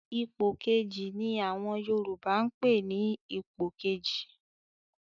"Ipò Kejì" ni àwọn Yorùbá ń pè ní Ipò kejì